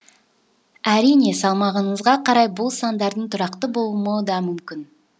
әрине салмағыңызға қарай бұл сандардың тұрақты болмауы да мүмкін